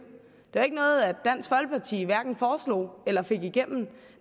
det er jo ikke noget dansk folkeparti hverken foreslog eller fik igennem